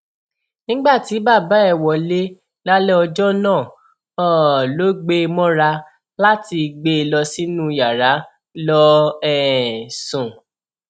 nígbà tí bàbá ẹ wọlẹ lálẹ ọjọ náà um ló gbé e mọra láti gbé e lọ sínú yàrá lọọ um sùn